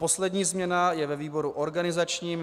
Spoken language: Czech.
Poslední změna je ve výboru organizačním.